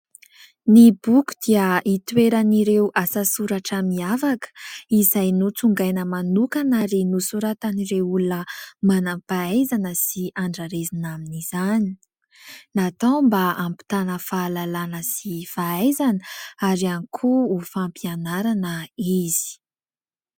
Ny boky dia itoeran'ireo asasoratra miavaka izay notsongaina manokana ary nosoratan'ireo olona manam-pahaizana sy andrarezina amin'izany. Natao mba ampitana fahalalana sy fahaizana ary ihany koa ho fampianarana izy.